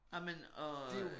Ej men og